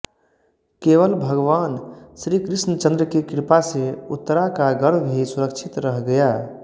केवल भगवान श्रीकृष्णचन्द्र की कृपा से उत्तरा का गर्भ ही सुरक्षित रह गया